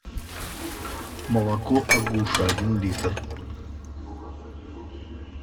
молоко агуша один литр